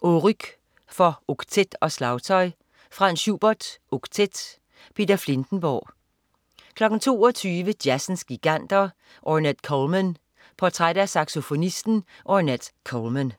Oryq for oktet og slagtøj. Franz Schubert: Oktet. Peter Filtenborg 22.00 Jazzens Giganter. Ornette Coleman. Portræt af saxofonisten Ornette Coleman